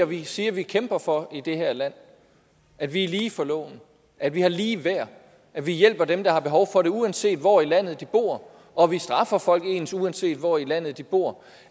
vi siger vi kæmper for i det her land at vi er lige for loven at vi har ligeværd at vi hjælper dem der har behov for det uanset hvor i landet de bor og at vi straffer folk ens uanset hvor i landet de bor